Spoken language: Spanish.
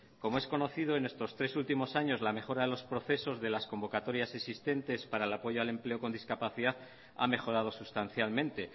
como es conocido en estos tres últimos años la mejora de los procesos de las convocatorias existentes para el apoyo al empleo con discapacidad ha mejorado sustancialmente